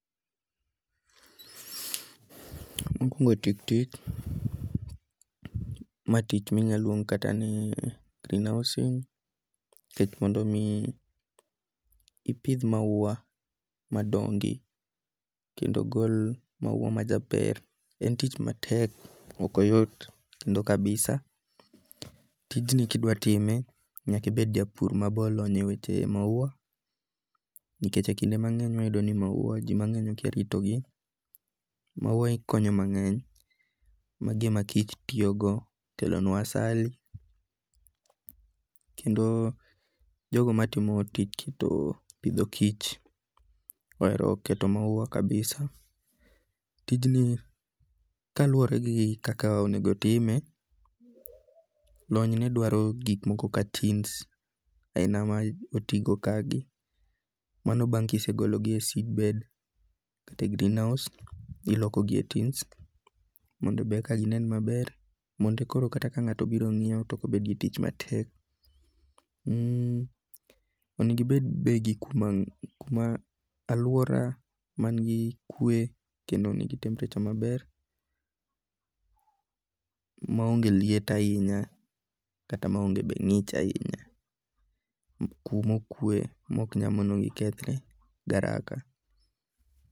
Mokwongo tik tik, ma tich minya luong kata ni greenhousing nikech mondo mi ipidh maua madongi kendo gol maua ma jaber, en tich matek. Ok oyot kendo kabisa. Tijni kidwa time nyakibed jabur ma be olony e weche maua nikech e kinde mang'eny wayudo ni maua ji mang'eny okia rito gi. Maua konyo mang'eny. Mag gima kich tiyogo kelonwa asali. Kendo jogo matimo tich pidho kich ohero keto maua kabisa. Tijni kaluwore gi kaka onego time, lony ne dwaro gik moko kaka tins aina ma oti go ka gi. Mano bang' kisegologi e seedbed kata e greenhouse iloko gi e tins mondo ber ka gi nen maber mondo e koro ka ng'ato biro ng'iew to ok obet gi tich matek. Onegibend be gi kuma aluora man gi kwe kendo nigi temperature maber ma onge liet ahinya kata ma onge be ng'ich ahinya. Kumokwe kuma ok nya mono mi gikethre gi haraka.